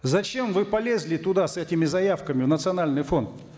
зачем вы полезли туда с этими заявками в национальный фонд